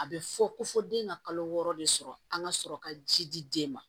A bɛ fɔ ko fɔ den ka kalo wɔɔrɔ de sɔrɔ an ka sɔrɔ ka ji di den ma